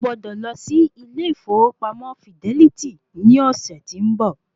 O gbọ́dọ̀ lo sí ilè ìfowópamọ́ fidẹ́lítì ní ọ̀sẹ̀ tí ń bọ̀.